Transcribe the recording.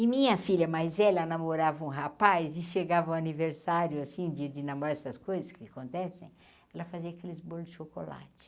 E minha filha, mais velha namorava um rapaz e chegava o aniversário, assim, de de namoraro essas coisas que acontecem, ela fazia aqueles bolos de chocolate.